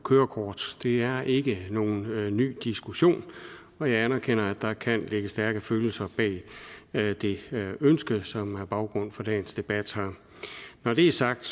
kørekort det er ikke nogen ny diskussion og jeg anerkender at der kan ligge stærke følelser bag det ønske som er baggrund for dagens debat når det er sagt